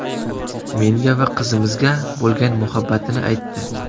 Menga va qizimizga bo‘lgan muhabbatini aytdi.